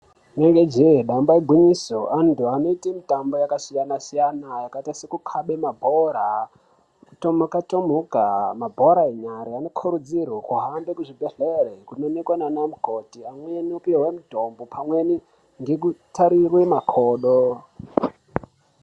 Inenge je damba igwinyiso vantu vanoita mitambo yakasiyana-siyana yakaita sekukabe mabhora kutomuka tomuka mabhora enyara vanokurudzirwa kuhambe kuzvibhedhlera kundoonekwa nana mukoti amweni anopuwe mitombo amweni nekutsarirwe makodo.